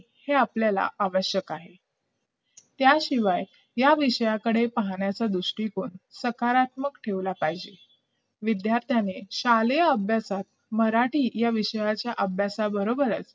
हे आपल्याला आवश्यक आहे त्याशिवाय या विषयाकडे पाहण्याचा दृष्टिकोन सकारात्मक ठेवला पाहिजे विद्यार्थ्यांनी शालेय अभ्यासात मराठी या विषयाच्या अभ्यासाबरोबरच